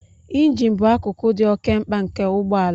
Injin bụ akụkụ dị oke mkpa nke ụgbọ ala